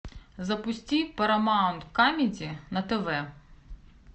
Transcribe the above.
запусти парамаунт камеди на тв